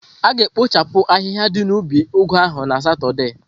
A ga-ekpochapụ ahịhịa ndi na ubi ugu ahu na Satọde.